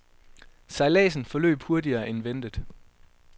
Sejladsen forløb hurtigere end ventet.